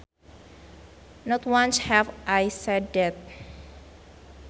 Not once have I said that